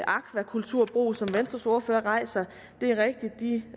akvakulturbrug som venstres ordfører rejser det er rigtigt